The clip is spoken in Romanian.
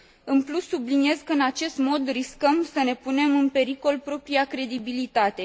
În plus, subliniez că, în acest mod, riscăm să ne punem în pericol propria credibilitate.